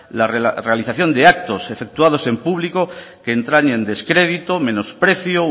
la realización de actos efectuados en público que entrañen descrédito menosprecio